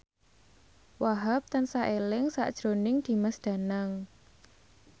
Wahhab tansah eling sakjroning Dimas Danang